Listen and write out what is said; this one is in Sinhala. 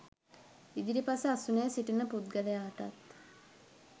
ඉදිරිපස අසුනේ සිටින පුද්ගලයාටත්